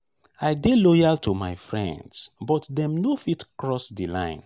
i dey loyal to my friends but dem no fitt cross di line.